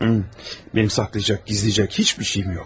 Mənim saxlayacaq, gizləyəcək heç bir şeyim yox.